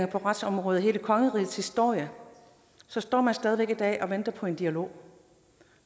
på retsområdet i hele kongerigets historie så står man stadig væk i dag og venter på en dialog